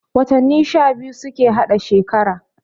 Watanni sha biyu suke hada shekara